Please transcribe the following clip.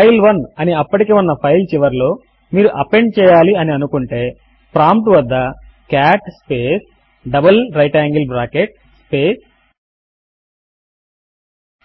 ఫైల్1 అని అప్పటికే ఉన్న ఫైల్ చివరలో మీరు అపెండ్ చేయాలి అని అనుకుంటే ప్రాంప్ట్ వద్ద cat space double right angle bracket space